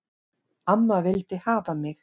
Amma vildi hafa mig.